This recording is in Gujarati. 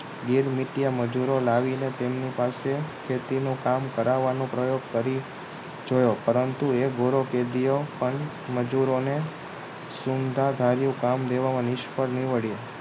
ગેર મિત્યા મજૂરો લાવી તેમની પાસે ખેતી કામ કરાવવાનો પ્રયત્ન કરી જોયો પરંતુ ગોળો કેદીઓ પણ મજૂરોને સુંધા ધાર્યું કામ દેવામાં નિષ્ફળ નિવડ્યું